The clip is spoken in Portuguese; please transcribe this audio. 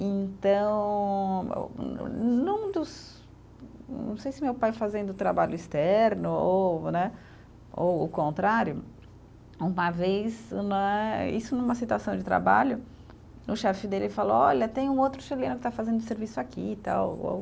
Então, num dos não sei se meu pai fazendo trabalho externo ou né, ou o contrário, uma vez né, isso numa situação de trabalho, o chefe dele falou, olha, tem um outro chileno que está fazendo serviço aqui e tal, ou